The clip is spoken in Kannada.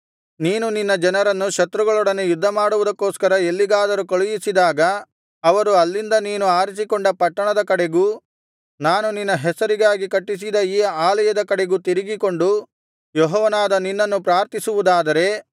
ನೀನು ನಿನ್ನ ಜನರನ್ನು ಶತ್ರುಗಳೊಡನೆ ಯುದ್ಧಮಾಡುವುದಕ್ಕೋಸ್ಕರ ಎಲ್ಲಿಗಾದರು ಕಳುಹಿಸಿದಾಗ ಅವರು ಅಲ್ಲಿಂದ ನೀನು ಆರಿಸಿಕೊಂಡ ಪಟ್ಟಣದ ಕಡೆಗೂ ನಾನು ನಿನ್ನ ಹೆಸರಿಗಾಗಿ ಕಟ್ಟಿಸಿದ ಈ ಆಲಯದ ಕಡೆಗೂ ತಿರುಗಿಕೊಂಡು ಯೆಹೋವನಾದ ನಿನ್ನನ್ನು ಪ್ರಾರ್ಥಿಸುವುದಾದರೆ